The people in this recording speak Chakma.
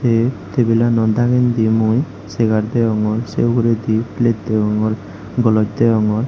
indi table ano dagendi mui chair degongor se uguredi plate degongor goloj degongor.